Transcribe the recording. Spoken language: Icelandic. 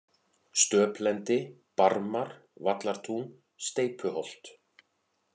Stöplendi, Barmar, Vallartún, Steypuholt